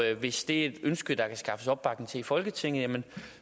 hvis det er et ønske der kan skaffes opbakning til i folketinget